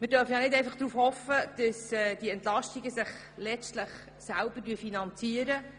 Wir dürfen nicht einfach darauf hoffen, dass sich die Entlastungen letztlich selber finanzieren.